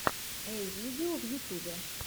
эй видео в ютубе